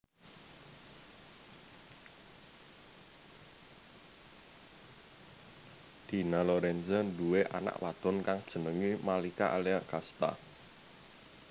Dina Lorenza nduwé anak wadon kang jenengé Malika Alea Casta